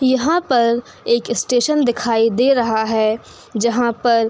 यहां पर एक स्टेशन दिखाई दे रहा है जहां पर --